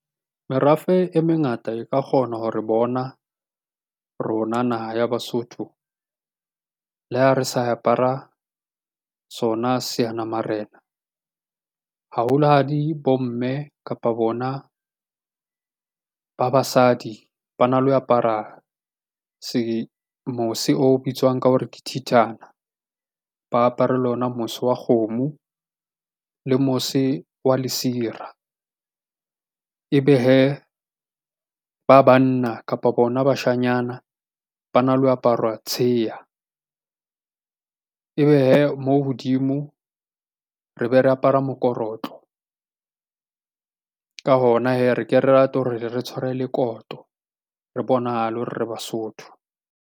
Merafe e mengata e ka kgona ho re bona rona naha ya Basotho. Le ha re sa apara sona seanamarena, haholo hadi bomme kapa bona ba basadi ba na le ho apara mose o bitswang ka hore ke thithana, ba apere lo na mose wa kgomo le mose wa lesira. Ebe hee, ba banna kapa bona bashanyana ba na le aparwa tsheha, ebe hee mo hodimo re be re apara mokorotlo, ka hona hee re ke re rate hore le re tshware le koto, re bonahale hore re Basotho.